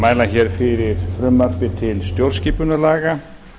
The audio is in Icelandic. mæla fyrir frumvarpi til stjórnskipunarlaga